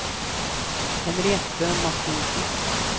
Henriette Mathiesen